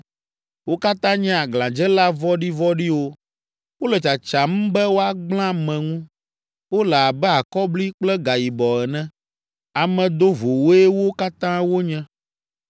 Wo katã nye aglãdzela vɔ̃ɖivɔ̃ɖiwo. Wole tsatsam be woagblẽ ame ŋu. Wole abe akɔbli kple gayibɔ ene. Ame dovowoe wo katã wonye.